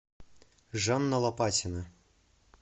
жанна лопатина